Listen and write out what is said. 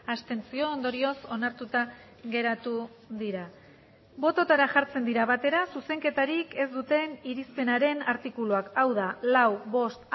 abstentzio ondorioz onartuta geratu dira bototara jartzen dira batera zuzenketarik ez duten irizpenaren artikuluak hau da lau bost